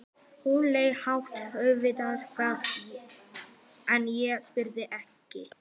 Hún hét auðvitað eitthvað en ég spurði ekki.